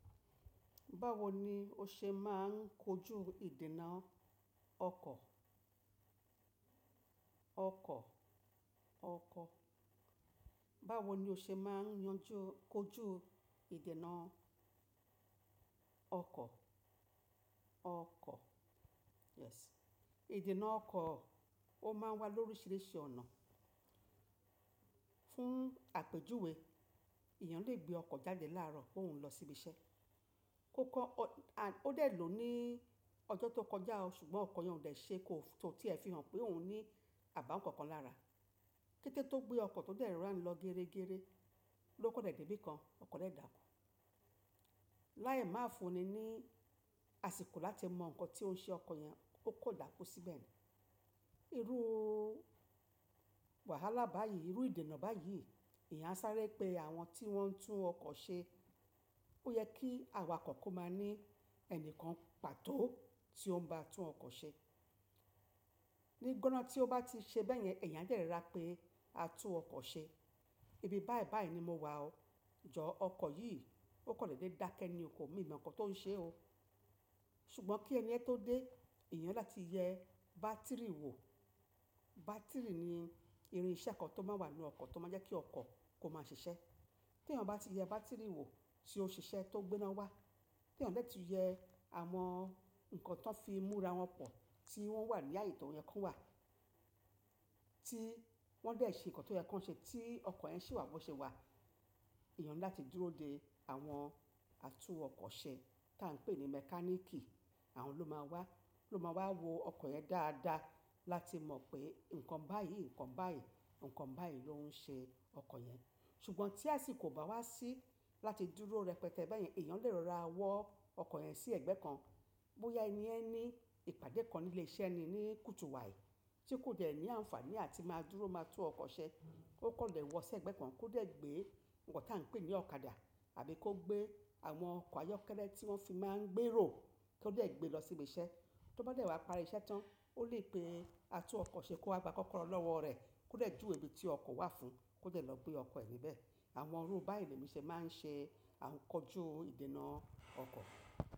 Báwo ni o ṣe máa ń kojú ìdènà ọkọ̀? Ọkọ̀, ọkọ̀. Báwo ni o ṣe máa ń kojú ìdènà ọkọ̀? Ọkọ̀, "yes". Ìdènà ọkọ̀ ó máa ń wà lóríṣiríṣi ọ̀nà. Fún àpèjúwe, èèyàn lè gbé ọkọ̀ jáde láàárọ̀ pé óhun ń lọ síbi iṣẹ́. Ó kọ́, a, ó dè ló ní ọjọ́ tó kọjá ṣùgbọ́n ọkọ̀ yẹn ò dẹ̀ ṣe, kó tí ẹ fi hàn pé òun ní àbáwọ̀n kankan lára. Kétẹ́ tó gbé ọkọ̀ tó dẹ̀ rora nlọ géregére ló kọ́ dẹ̀ dé ibìkan, ọkọ̀ dè daákú. Lái máa fúnni ní àsìkò láti mọ ǹkan tí ó ń ṣe ọkọ̀ yẹn ó kọ́ dàkú síbẹ̀ ni. Irú wàhálà báyìí, irú ìdènà báyìí èèyàn a sáré pé àwọn tí wọ́n ń tún ọkọ̀ ṣe ó yẹ kí awakọ̀ kó máa ní ẹni kan pàtó tí ó ń ba tún ọkọ̀ ṣe. Ni gbọ́ná tí ó bá ti ṣe bẹ́yẹn èèyàn a de rorá pé atún ọkọ̀ ṣe. Ibi báyibàyí ni mo wà o. Jọ̀ọ́ ọkọ̀ yìí, ó kọ̀ dẹ̀dé dákẹ́ ní o, ko- mi ò mọ ǹkan tó ń ṣe o. Ṣùgbọ́n kí ẹniyẹ́n tó dé, èèyàn ni láti ti yẹ bátìrì wò. Bátìrì ni irinṣẹ́ kan tó máa wà nínú ọkọ̀ tó máa jẹ́ kí ọkọ̀ kó máa ṣiṣẹ́. Tí èèyàn bá ti yẹ bátìrì wò tí ó ṣiṣẹ́ tó gbé iná wá, tí èèyàn de tuu yẹ àwọn ǹkan tí wọn fi múra wọn pọ̀ tí wọ́n wà ní ààyè tí wọn yẹ kí wọ́n wà, tí wọ́n dẹ̀ ṣe ǹkan tó yẹ kí wọ́n ṣe tí ọkọ̀ yẹn ṣì wà bó ṣe wà, èèyàn ni láti dúró de àwọn atúnọkọ̀ ṣe tá ń pè ní mẹ́káníìkì. Àwọn ló máa wá, ló máa wá wo ọkọ̀ yẹn dáadáa láti mọ̀ pé ǹkan báyìí, ǹkan báyìí, ǹkan báyìí ló ń ṣe ọkọ̀ yẹn. Ṣùgbọ́n tí àsìkò o bá wá sí láti dúró rẹpẹtẹ bẹ́yẹn èèyàn lè rọra wọ ọkọ̀ yẹn sí ẹgbẹ́ kan. Bóyá ẹniyẹn ní ìpàdé kan ní ilé iṣẹ́ ni, ní kùtùu wàì, tí kò dẹ̀ ní àǹfààní áti máa dúró máa tún ọkọ̀ ṣe. Ó kọ̀ le wọ̀ọ́ sí ẹgbẹ́ kan kó dẹ̀ gbé ǹkan tá ń pè ní ọ̀kadà àbí kó gbé àwọn ọkọ̀ ayọ́kẹ́lẹ́ tí wọ́n fi máa ń gbé èrò kó dẹ̀ gbé lọ sí ibi iṣẹ́. Tó bá dẹ̀ wá parí iṣẹ́ tán ó lè pe atúnọkọ̀ ṣe kó wa gbá kọ́kọ́rọ́ lọ́wọ́ rẹ̀ kó dẹ̀ júwe ibi tí ọkọ̀ wà fún kó dẹ́ lọ gbé ọkọ̀ ẹ níbẹ̀. Àwọn irú báyìí ni èmi ṣe máa ń ṣe à ńkojú ìdènà ọkọ̀.